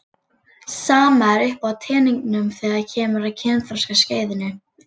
Sama er uppi á teningnum þegar kemur að kynþroskaskeiðinu.